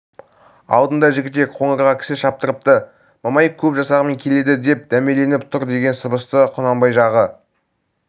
алдында жігітек қоңырға кісі шаптырыпты мамай көп жасағымен келеді деп дәмеленіп тұр деген сыбысты құнанбай жағы